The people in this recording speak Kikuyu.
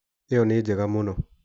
Ĩyo nĩ njega mũno.